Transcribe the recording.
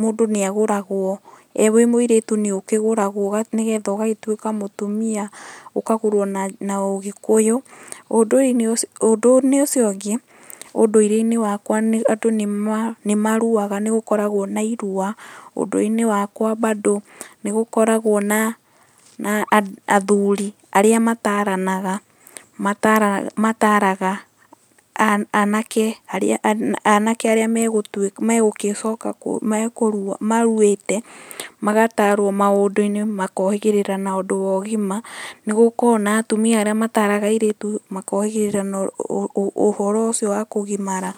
mũndũ nĩ agũragwo, wĩ mũirĩtu nĩ ũkĩgũragwo nĩgetha ũgagĩtuĩka mũtumia, ũkagũrwo na ũgĩkũyũ. Ũndũ-inĩ ũcio ũngĩ, ũndũire-inĩ wakwa andũ nĩ maruaga nĩ gũkoragwo na irua. Ũnduire-inĩ wakwa bado nĩ gũkoragwo na athuri arĩa mataranaga, mataraga anake arĩa a, anake aria maruĩte, magatarwo maũndũ-inĩ, makohĩgĩrĩra na ũndũ wa ũgima. Nĩ gũkoragwo na atumia arĩa mataraga airĩtu, makohĩgĩrĩra ũhoro ũcio wa kũgimara